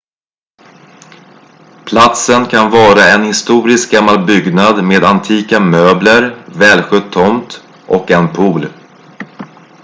platsen kan vara en historisk gammal byggnad med antika möbler välskött tomt och en pool